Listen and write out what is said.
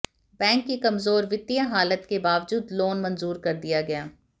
bank की कमजोर वित्तीय हालत के बावजूद लोन मंजूर कर दिया गया